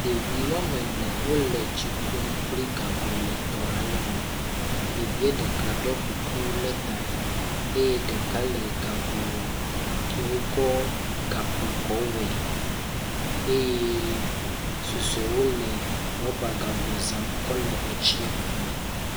Ɖevi woame ene wole tsi kum kple gago le etɔ ale me. Ɖevie ɖeka ɖɔ kuku ɖe ta eye ɖeka le gago ke wokɔ gakpo kɔ wɔe eye susuewo le rɔba gago zam kɔ le etsi kum.